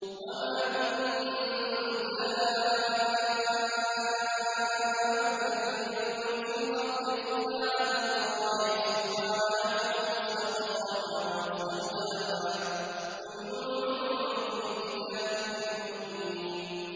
۞ وَمَا مِن دَابَّةٍ فِي الْأَرْضِ إِلَّا عَلَى اللَّهِ رِزْقُهَا وَيَعْلَمُ مُسْتَقَرَّهَا وَمُسْتَوْدَعَهَا ۚ كُلٌّ فِي كِتَابٍ مُّبِينٍ